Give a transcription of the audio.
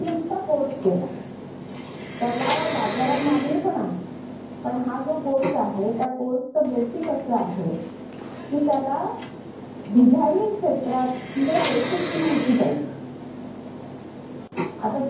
अगं श्वेता तिला जे काही कोर्स केला त्याला बाजारात खूप मागणी आहे. पण हा जो तो कोर्स केला तिने आता